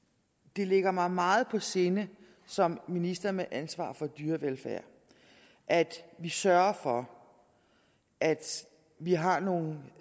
det ligger mig meget på sinde som minister med ansvaret for dyrevelfærd at vi sørger for at vi har nogle